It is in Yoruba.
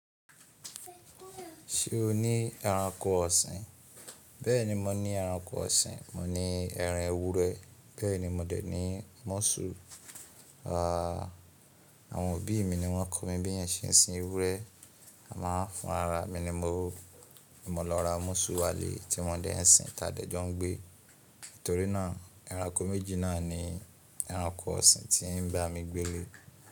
Ṣé o ní ẹranko ọ̀sìn? Bẹ́ẹ̀ni mo ní ẹranko ọ̀sìn. Mo ní ẹran ewúrẹ́, bẹ́ẹ̀ ni mo dẹ̀ ní músù. Àwọn òbí mi ni wọ́n kọ́ mi bí eeyan ṣe n sin ewúrẹ́, amo, fúnra ara mi ni mo lọ ra músù wá lé tí mo dẹ̀ ń sin tí a dẹ̀ jo n gbé. Nítorí náà ẹranko méjì náà ni ẹranko ọ̀sìn tí ń bá mi gbé lé.